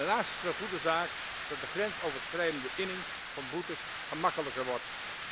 Daarnaast is het een goede zaak dat de grensoverschrijdende inning van boetes gemakkelijker wordt.